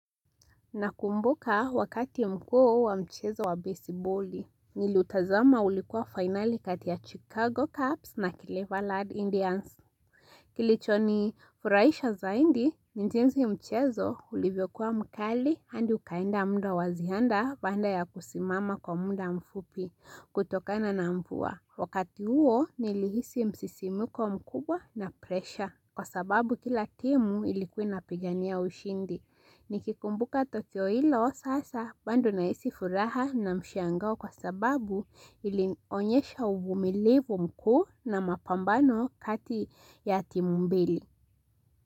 Nakumbuka wakati mkuu wa mchezo wa besiboli, niliutazama ulikuwa finali kati ya Chicago Cups na Cleverland Indians. Kilichonifuraisha zaidi, ni jinsi mchezo ulivyokuwa mkali hadi ukaenda muda wa ziada baada ya kusimama kwa muda mfupi kutokana na mvua. Wakati huo nilihisi msisimuko mkubwa na pressure. Kwa sababu kila timu ilikuwa inapigania ushindi. Nikikumbuka tukio hilo sasa bado nahisi furaha na mshangao kwa sababu ilionyesha uvumilivu mkuu na mapambano kati ya timu mbili.